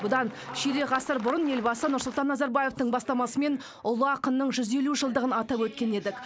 бұдан ширек ғасыр бұрын елбасы нұрсұлтан назарбаевтың бастамасымен ұлы ақынның жүз елу жылдығын атап өткен едік